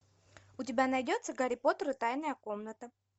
у тебя найдется гарри поттер и тайная комната